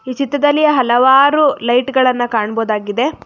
ಚಿತ್ರದಲ್ಲಿ ಹಲವಾರು ಲೈಟ್ ಗಳನ್ನ ಕಾಣಬಹುದಾಗಿದೆ.